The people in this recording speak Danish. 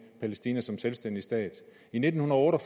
palæstina som selvstændig stat i nitten otte og